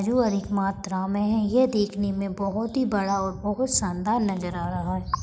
जो अधिक मात्रा में है यह देखने में बहोत ही बड़ा और बहोत शानदार नज़र आ रहा है।